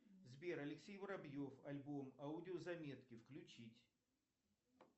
сбер алексей воробьев альбом аудио заметки включить